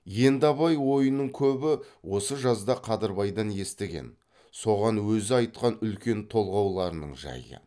енді абай ойының көбі осы жазда қадырбайдан естіген соған өзі айтқан үлкен толғауларының жайы